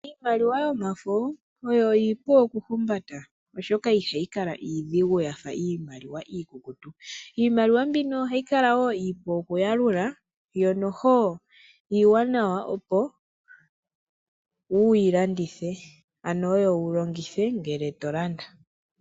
Iimaliwa yomafo oyo ipu oku humbata oshoka ihayi kala iidhigu yafa iimaliwa iikukutu. Iimaliwa mbino ohayi kala wo iipu oku yalula yo noho iiwanawa opo wuyi landithe ano oyo wu longithe ngele to landa.